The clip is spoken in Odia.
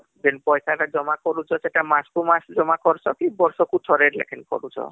ଯେନ ପଇସା ଟା ଜମା କରୁଛ ସେଟା ମାସକୁ ମାସ ଜମା କରୁଛ କି ବର୍ଷକୁ ଥରେ ଲେଖା କରୁଛ